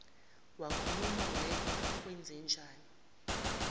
wakhuluma wedwa kwenzenjani